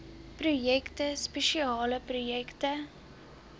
projekte spesiale projekte